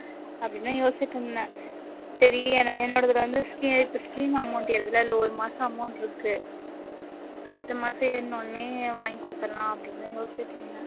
அப்படின்னு தான் யோசிச்சுட்டு இருந்தேன். சரி என என்னோடதுல வந்து இப்போ scheme amount ஏறுதுல்ல அதுல ஒரு மாச amount இருக்கு அடுத்த மாசம் ஏறுன உடனே வாங்கி கொடுத்துடலாம் அப்படின்னு தான் யோசிச்சுட்டு இருந்தேன்